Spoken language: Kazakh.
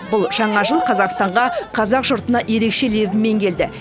бұл жаңа жыл қазақстанға қазақ жұртына ерекше лебімен келді